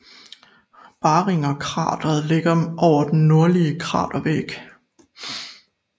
Barringerkrateret ligger over den nordlige kratervæg